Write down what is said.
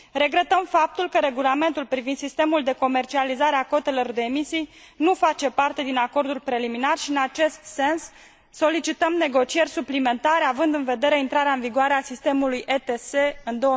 Regretăm faptul că Regulamentul privind sistemul de comercializare a cotelor de emisii nu face parte din acordul preliminar și, în acest sens, solicităm negocieri suplimentare, având în vedere intrarea în vigoare a sistemului ETS în